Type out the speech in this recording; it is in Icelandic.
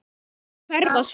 Og hverfa svo.